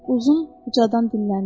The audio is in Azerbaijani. Uzundraz ucadan dinləndi.